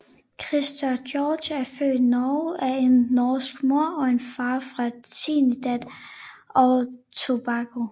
Christer George er født Norge af en norsk mor og en far fra Trinidad og Tobago